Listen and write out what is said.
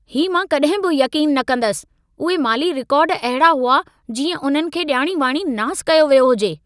ही मां कॾहिं बि यक़ीनु न कंदसि! उहे माली रिकार्ड अहिड़ा हुआ जीअं उननि खे ॼाणीवाणी नासु कयो वियो हुजे।